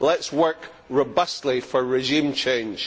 Let us work robustly for regime change.